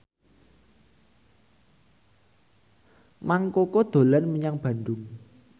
Mang Koko dolan menyang Bandung